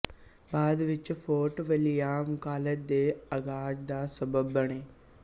ਬਾਦ ਵਿੱਚ Fort William college ਦੇ ਆਗ਼ਾਜ਼ ਦਾ ਸਬੱਬ ਬਣੇ